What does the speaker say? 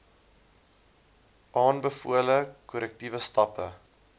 aanbevole korrektiewe stappe